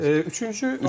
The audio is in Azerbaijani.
Üçüncü amil nədir?